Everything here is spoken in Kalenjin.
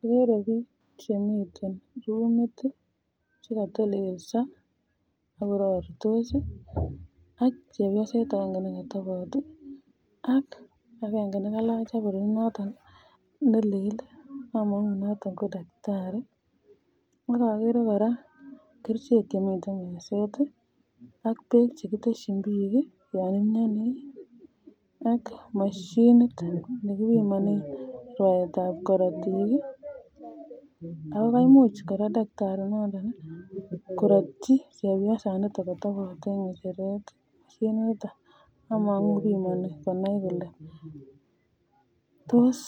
Agere bik Chemiten rumit chekatelelso akoraritos ak chepyoset agenge nekatabot AK akenge nekalach abronit noton nelel amangu konaton ko daktari akere koraa kerchek Chemiten meset AK bek chekiteshin bik yanimyani AK mashinit nekibimanen rwaet ab korotik akokaimuch takitari koratyi chepyoset nekatobot en ngecheret ako amangu bimani konai Kole tos